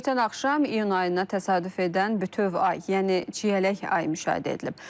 Ötən axşam iyun ayına təsadüf edən bütöv ay, yəni çiyələk ayı müşahidə edilib.